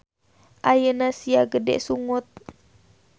Ayeuna sia gede sungut.